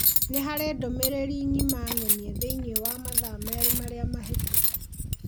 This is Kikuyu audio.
Nĩ harĩ ndũmĩrĩri ng'ima ng'emie thĩinĩ wa mathaa merĩ marĩa mahĩtũku